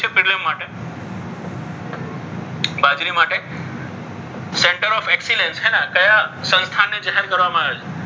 center of excellence કયા સંસ્થાનની જાહેર કરવામાં આવેલ છે?